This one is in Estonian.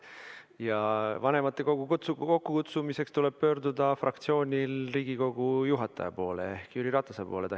Ja vanematekogu kokkukutsumiseks tuleb fraktsioonil pöörduda Riigikogu esimehe ehk Jüri Ratase poole.